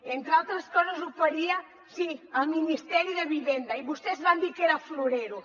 entre altres coses oferia sí el ministeri de vivenda i vostès van dir que era florero